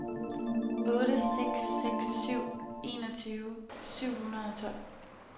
otte seks seks syv enogtyve syv hundrede og tolv